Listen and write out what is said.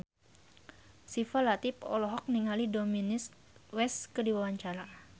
Syifa Latief olohok ningali Dominic West keur diwawancara